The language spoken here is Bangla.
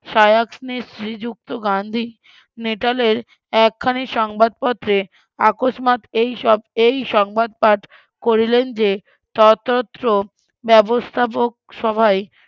শ্রীযুক্ত গান্ধী নেটালের এক খানি সংবাদ পত্রে আকস্মাৎ এইসব এই সংবাদ পাঠ করিলেন যে ততত্র ব্যবস্থাপক সহায়িক